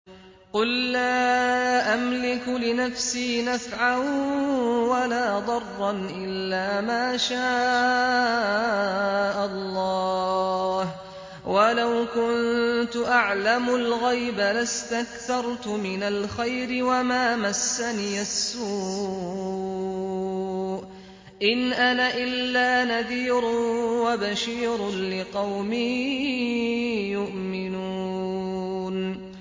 قُل لَّا أَمْلِكُ لِنَفْسِي نَفْعًا وَلَا ضَرًّا إِلَّا مَا شَاءَ اللَّهُ ۚ وَلَوْ كُنتُ أَعْلَمُ الْغَيْبَ لَاسْتَكْثَرْتُ مِنَ الْخَيْرِ وَمَا مَسَّنِيَ السُّوءُ ۚ إِنْ أَنَا إِلَّا نَذِيرٌ وَبَشِيرٌ لِّقَوْمٍ يُؤْمِنُونَ